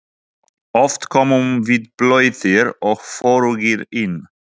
Oft komum við blautir og forugir inn.